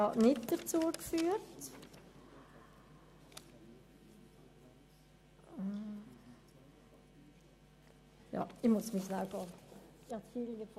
Die Notizen zu Ziffer 4 habe ich jetzt nicht ans Rednerpult mitgenommen.